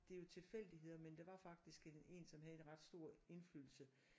Det er jo tilfældigheder men der var faktisk én som havde en ret stor indflydelse